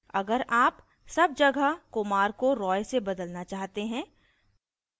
अगर आप सब जगह kumar को roy से बदलना चाहते हैं